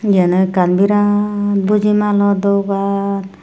yan no ekkan birat buji malo dogan.